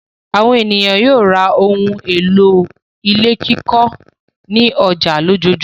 Àwọn ènìyàn yóò ra àwọn ohun-èlò ilé kíkọ́ ní ọjà lójoojúmọ́.